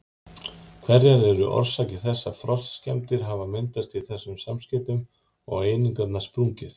Hverjar eru orsakir þess að frostskemmdir hafa myndast í þessum samskeytum og einingarnar sprungið?